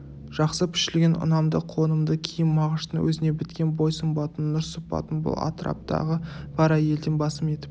жақсы пішілген ұнамды қонымды киім мағыштың өзіне біткен бой сымбатын нұр сыпатын бұл атыраптағы бар әйелден басым етіп